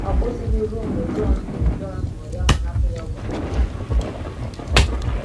Ọ kwụsịghị ruo mgbe Jọn hụrụ, Jọn hụrụ ya, ma napụ ya ọgwụ ndị ahụ.